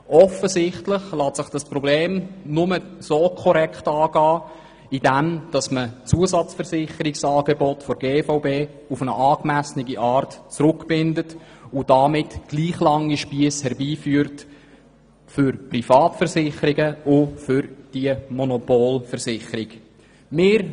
Offenbar lässt es sich nur korrekt angehen, indem man die Zusatzversicherungsangebote der GVB auf eine angemessene Art zurückbindet und damit gleich lange Spiesse für Privatversicherungen und für diese Monopolversicherung schafft.